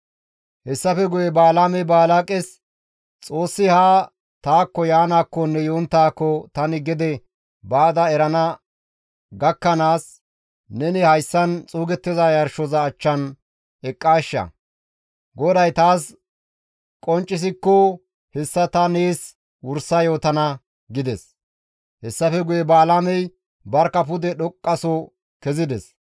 Hessafe guye Balaamey Balaaqes, «Xoossi haa taakko Yaanaakkonne yonttaakko tani gede baada erana gakkanaas neni hayssan xuugettiza yarshoza achchan eqqaashsha; GODAY taas qonccisikko hessa ta nees wursa yootana» gides; hessafe guye Balaamey barkka pude dhoqqaso kezides.